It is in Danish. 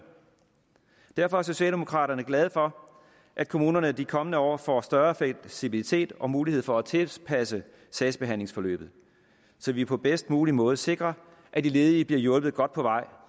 derfor er socialdemokraterne glade for at kommunerne i de kommende år får større fleksibilitet og mulighed for at tilpasse sagsbehandlingsforløbet så vi på bedst mulig måde sikrer at de ledige bliver hjulpet godt på vej